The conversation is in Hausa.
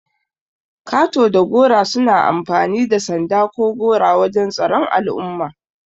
Ƙato da gora suna amfani da sanda ko gora wajan tsaron al'umma.